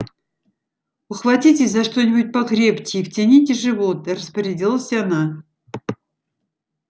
ухватитесь за что-нибудь покрепче и втяните живот распорядилась она